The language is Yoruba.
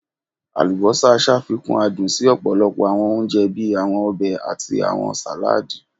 Alubosa ṣafikun adun si ọpọlọpọ awọn ounjẹ bii awọn ọbẹ ati awọn saladi